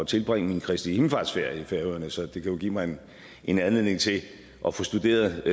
tilbringe min kristi himmelfartsferie i færøerne så det kan jo give mig en anledning til at få studeret